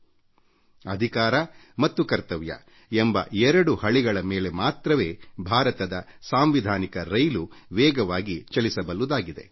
ನಾಗರಿಕರ ಹಕ್ಕು ಮತ್ತು ಕರ್ತವ್ಯಗಳೆಂಬುದು ರೈಲ್ವೆ ಹಳಿಗಳಂತೆ ಅದರ ಮೇಲೆ ಭಾರತದ ಪ್ರಜಾಪ್ರಭುವತ್ವದ ರೈಲು ವೇಗವಾಗಿ ಚಲಿಸಬಲ್ಲುದಾಗಿದೆ